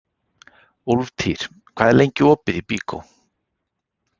Úlftýr, hvað er lengi opið í Byko?